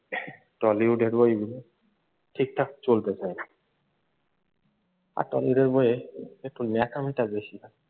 টালিউডের বইগুলো ঠিক ঠাক চলতে চায় না আর টলিউডের বইয়ে একটু ন্যাকামিটা বেশি হয়।